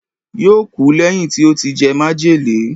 yóò kú lẹ́yìn tí ó ti jẹ májèlé